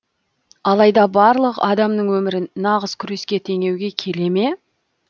алайда барлық адамның өмірін нағыз күреске теңеуге келе ме